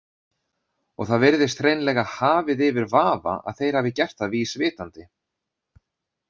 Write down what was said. Og það virðist hreinlega hafið yfir vafa að þeir hafi gert það vísvitandi.